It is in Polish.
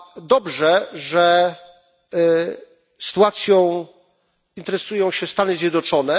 Dobrze, że sytuacją interesują się Stany Zjednoczone.